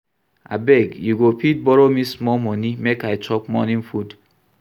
Abeg you go fit borrow me small money make I chop morning food